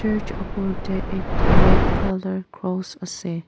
ech upor de ekta red color cross ase.